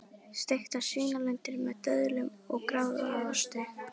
Steiktar svínalundir með döðlum og gráðaosti